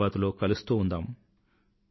మన్ కీ బాత్ లో కలుస్తూ ఉందాం